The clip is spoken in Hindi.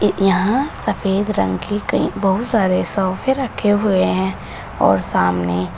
यहां सफेद रंग की कहीं बहुत सारे सोफे रखें हुए हैं और सामने--